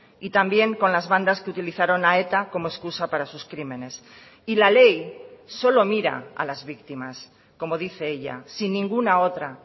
y también con las bandas que utilizaron a eta como excusa para sus crímenes y la ley solo mira a las víctimas como dice ella sin ninguna otra